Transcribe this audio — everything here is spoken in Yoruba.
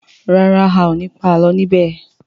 ràrá ào ní pa àlọ ní bè.